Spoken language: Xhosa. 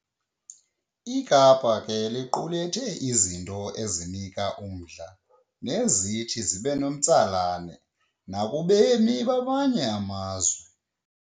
iKapa ke iqulathe izinto ezinika umdla nezithi zibenomntsalane nakubemi bamanye amazwe.